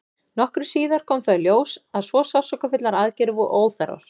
nokkru síðar kom þó í ljós að svo sársaukafullar aðgerðir voru óþarfar